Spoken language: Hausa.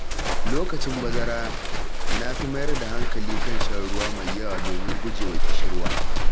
Lokacin bazara, na fi mayar da hankali kan shan ruwa mai yawa domin guje wa ƙishirwa.